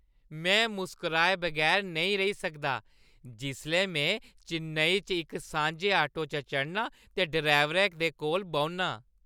में मुस्कराए बगैर नेईं रेही सकदा जिसलै में चेन्नई च इक सांझे आटो च चढ़नां ते ड्राइवरै दे कोल बौह्‌न्नां।